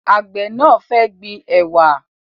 Àgbẹ̀ náà fẹ́ gbin ẹ̀wà